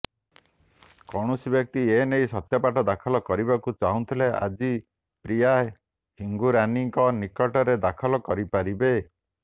କୌଣସି ବ୍ୟକ୍ତି ଏନେଇ ସତ୍ୟପାଠ ଦାଖଲ କରିବାକୁ ଚାହୁଁଥିଲେ ଆଜି ପ୍ରିୟା ହିଙ୍ଗୁରାନୀଙ୍କ ନିକଟରେ ଦାଖଲ କରିପାରିବେ